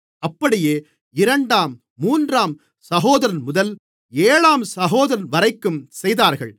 அப்படியே இரண்டாம் மூன்றாம் சகோதரன்முதல் ஏழாம் சகோதரன்வரைக்கும் செய்தார்கள்